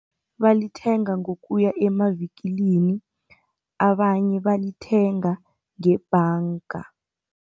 Balithenga ngokuya emavikilini, abanye balithenga ngebhanga.